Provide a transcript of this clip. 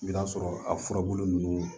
I bɛ t'a sɔrɔ a furabulu ninnu